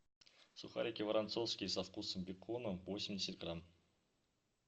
сухарики воронцовские со вкусом бекона восемьдесят грамм